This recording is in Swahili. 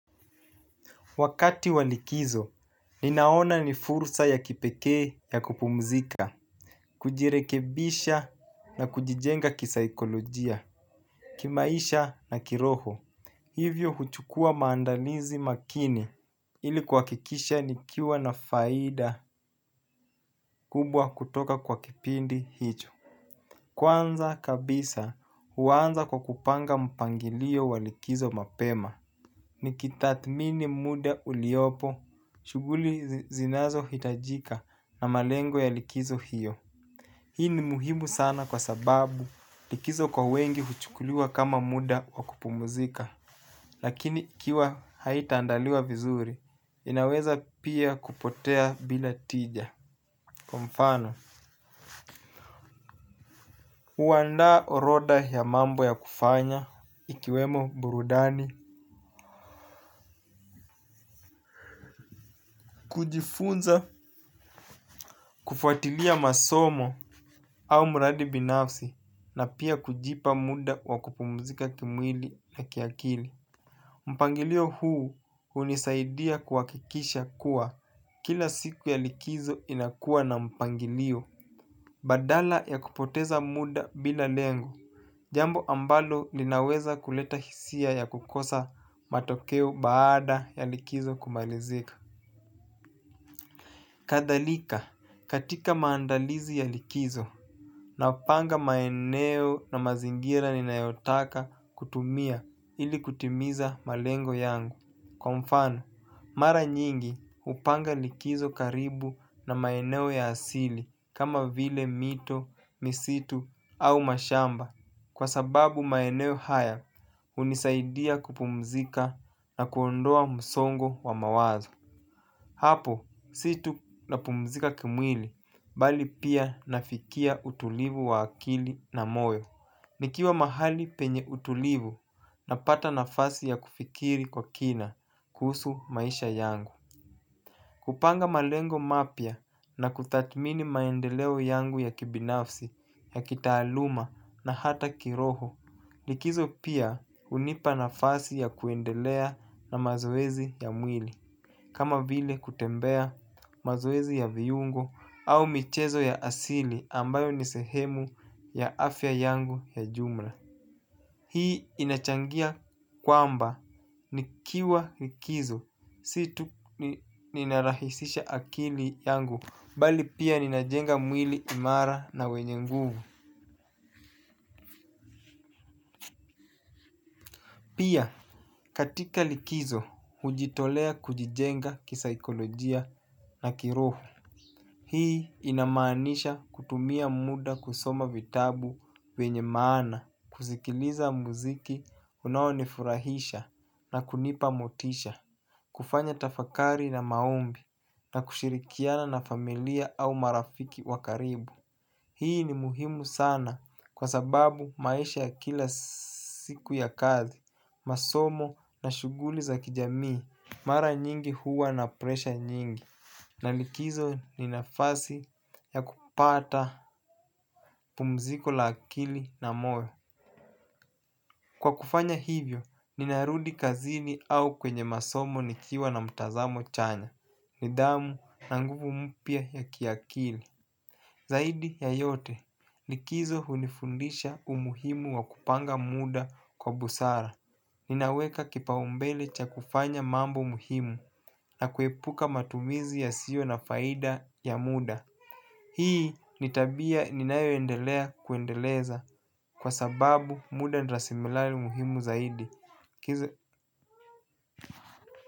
Wakati wa likizo ninanona ni fursa ya kipekee ya kupumzika. Kujirekebisha na kujijenga kisaikolojia kimaisha na kiroho hivyo huchukua maandalizi makini ili kuhakikisha nikiwa na faida kubwa kutoka kwa kipindi hicho. Kwanza kabisa huanza kwa kupanga mpangilio wa likizo mapema. Nikitathmini muda uliopo shughuli zinazo hitajika na malengo ya likizo hiyo hii ni muhimu sana kwa sababu likizo kwa wengi huchukuliwa kama muda wa kupumuzika. Lakini ikiwa haitaandaliwa vizuri inaweza pia kupotea bila tija. Kwa mfano huandaa orodha ya mambo ya kufanya ikiwemo burudani kujifunza kufuatilia masomo au mradi binafsi na pia kujipa muda wa kupumzika kimwili na kiakili. Mpangilio huu hunisaidia kuhakikisha kuwa kila siku ya likizo inakuwa na mpangilio. Badala ya kupoteza muda bila lengo. Jambo ambalo linaweza kuleta hisia ya kukosa matokeo baada ya likizo kumalizika. Kadhalika katika maandalizi ya likizo napanga maeneo na mazingira ninayotaka kutumia ili kutimiza malengo yangu. Kwa mfano mara nyingi hupanga likizo karibu na maeneo ya asili kama vile mito, misitu au mashamba. Kwa sababu maeneo haya hunisaidia kupumzika na kuondoa msongo wa mawazo. Hapo si tu napumzika kimwili bali pia nafikia utulivu wa akili na moyo. Nikiwa mahali penye utulivu napata nafasi ya kufikiri kwa kina kuhusu maisha yangu. Kupanga malengo mapya na kutathimini maendeleo yangu ya kibinafsi ya kitaaluma na hata kiroho. Likizo pia hunipa nafasi ya kuendelea na mazoezi ya mwili kama vile kutembea mazoezi ya viungo au michezo ya asili ambayo ni sehemu ya afya yangu ya jumla. Hii inachangia kwamba nikiwa likizo si tu ninarahisisha akili yangu bali pia ninajenga mwili imara na wenye nguvu. Pia katika likizo hujitolea kujijenga kisaikolojia na kiroho. Hii inamaanisha kutumia muda kusoma vitabu vyenye maana, kusikiliza muziki, unaonifurahisha na kunipa motisha, kufanya tafakari na maombi na kushirikiana na familia au marafiki wa karibu. Hii ni muhimu sana kwa sababu maisha ya kila siku ya kazi, masomo na shuguli za kijamii, mara nyingi huwa na presha nyingi. Na likizo ni nafasi ya kupata pumziko la akili na moyo. Kwa kufanya hivyo, ninarudi kazini au kwenye masomo nikiwa na mtazamo chanya. Nidhamu na nguvu mpya ya kiakili zaidi ya yote, likizo hunifundisha umuhimu wa kupanga muda kwa busara. Ninaweka kipaumbele cha kufanya mambo muhimu na kuepuka matumizi yasiyo na faida ya muda hii ni tabia ninayoendelea kuendeleza kwa sababu muda ni rasirimali muhimu zaidi.